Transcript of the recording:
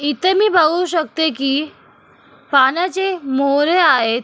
इथे मी बघू शकते की पाण्याचे मोहरे आहेत.